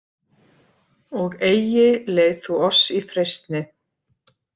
Og eigi leið þú oss í freistni,